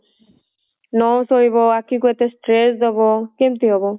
ନ ଶୋଇବ ଆଖି କୁ ଏତେ stress ଦବ କେମତି ହବ